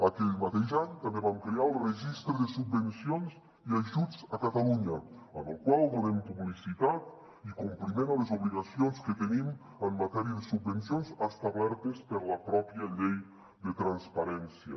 aquell mateix any també vam crear el registre de subvencions i ajuts de catalunya amb el qual donem publicitat i compliment a les obligacions que tenim en matèria de subvencions establertes per la mateixa llei de transparència